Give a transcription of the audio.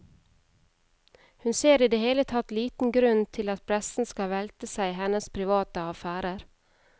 Hun ser i det hele tatt liten grunn til at pressen skal velte seg i hennes private affærer.